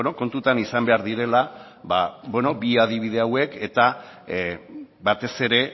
kontutan izan behar direla bi adibide hauek eta batez ere